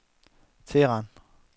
Teheran